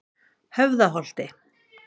Höfðaholti